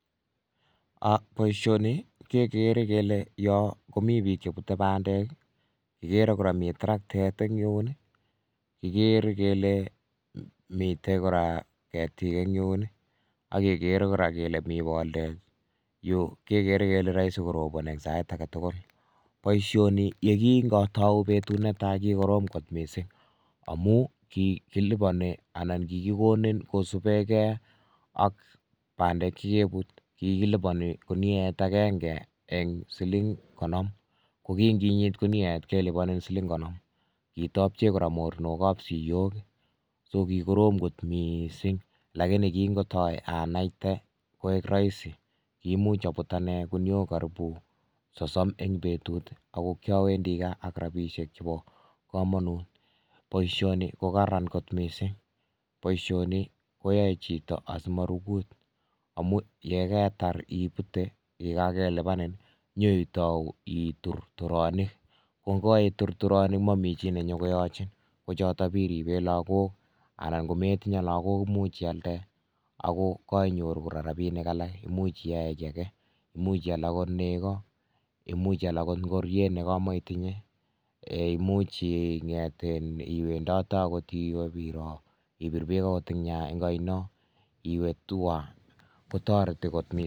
Poishoni kekere kele. yoo komitei piik chepute pandeek ,ako yotok there kole.me.boldet neibari kole. meche korobon kitapcheee kora Moronok ap siyok. kimuch away. kurgat AK.rapishek. che kororon missing Mutai kakilipianin komuchi itur turonik Mutai iyalee ngoroik AK tugun cheimache poishoni kotaritii